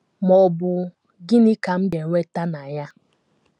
ma ọ bụ, Gịnị ka m ga - enweta na ya?